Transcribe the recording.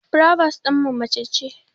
Furobos ɗinmu mace ce